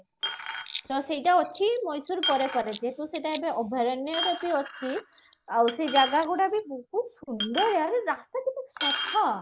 ତ ସେଇଟା ଅଛି ମହେଶ୍ଵର ପରେ ପରେ ଯେହେତୁ ସେଇଟା ଅଭୟାରଣ୍ୟରେ ବି ଅଛି ଆଉ ସେଇ ଜାଗା ଗୁଡା ବି ବହୁତ ସୁନ୍ଦର ୟାର ରାସ୍ତା କେତେ ସଫା